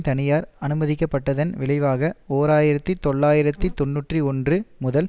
தனியார் அனுமதிக்கப்பட்டதன் விளைவாக ஓர் ஆயிரத்தி தொள்ளாயிரத்து தொன்னூற்றி ஒன்று முதல்